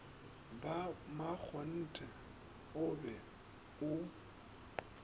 ba makgonthe o be o